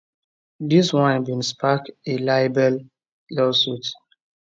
dis one bin spark a libel lawsuit